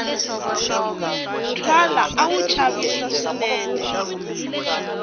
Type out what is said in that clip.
twala a wu chavisa swinene